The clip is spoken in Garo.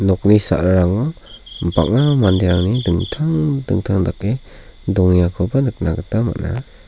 nokni sa·rarango bang·a manderangni dingtang dingtang dake dongengakoba nikna gita man·a.